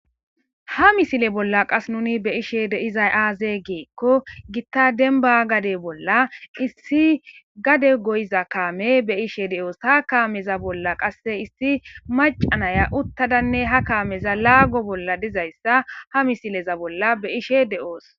ha misile bolla qas nuni be ishe de izay aaze geekko gitta denba gade bolla issi gade goyiza kaame be ishe deoos ha kaameza bolla qasse issi macanaya uttadanne ha kaameza laago bolla dizayssa ha misileza bolla be ishe de7oos